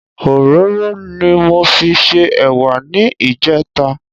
Òróró ni mo fi se ẹ̀wà ní ìjẹta